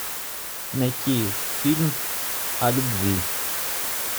найти фильм о любви